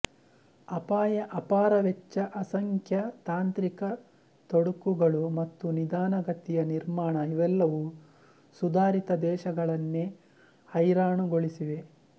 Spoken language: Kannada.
ಅಪಾಯ ಅಪಾರ ವೆಚ್ಚ ಅಸಂಖ್ಯ ತಾಂತ್ರಿಕ ತೊಡಕುಗಳು ಮತ್ತು ನಿಧಾನ ಗತಿಯ ನಿರ್ಮಾಣ ಇವೆಲ್ಲವೂ ಸುಧಾರಿತ ದೇಶಗಳನ್ನೇ ಹೈರಾಣುಗೊಳಿಸಿವೆ